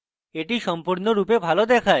এটি সম্পূর্ণরূপে ভালো দেখায়